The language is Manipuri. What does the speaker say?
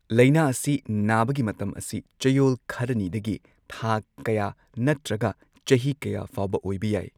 ꯂꯩꯅꯥ ꯑꯁꯤ ꯅꯥꯕꯒꯤ ꯃꯇꯝ ꯑꯁꯤ ꯆꯌꯣꯜ ꯈꯔꯅꯤꯗꯒꯤ ꯊꯥ ꯀꯌꯥ ꯅꯠꯇ꯭ꯔꯒ ꯆꯍꯤ ꯀꯌꯥ ꯐꯥꯎꯕ ꯑꯣꯢꯕ ꯌꯥꯏ꯫